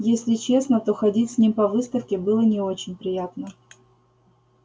если честно то ходить с ним по выставке было не очень приятно